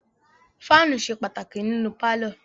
Fáànù ṣe pàtàkì nínú pálọ̀.